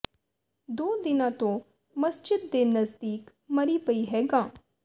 ਦੋ ਦਿਨਾਂ ਤੋਂ ਮਸਜਿਦ ਦੇ ਨਜ਼ਦੀਕ ਮਰੀ ਪਈ ਹੈ ਗਾਂ